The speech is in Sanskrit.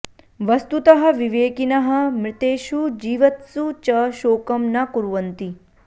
वस्तुतः विवेकिनः मृतेषु जीवत्सु च शोकं न कुर्वन्ति